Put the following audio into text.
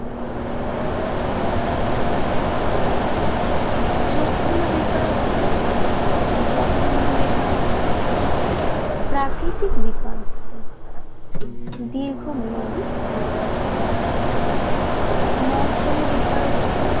চক্রীয় বেকারত্ব জঘন্য বেকারত্ব প্রাকৃতিক বেকারত্ব দীর্ঘ মেয়াদি বেকারত্ব মৌসুমী বেকারত্ব